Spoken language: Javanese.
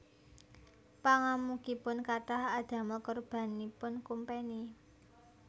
Pangamukipun kathah adamel korbanipun kumpeni